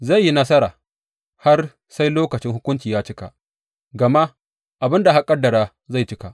Zai yi nasara har sai lokacin hukunci ya cika, gama abin da aka ƙaddara zai cika.